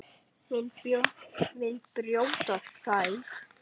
Vill brjóta þær.